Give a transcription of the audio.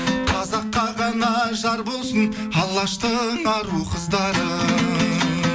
қазаққа ғана жар болсын алаштың ару қыздары